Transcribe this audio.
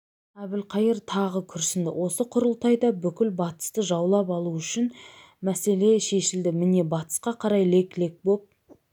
әбілқайыр тағы күрсінді осы құрылтайда бүкіл батысты жаулап алу мәселесі шешілді міне батысқа қарай лек-лек боп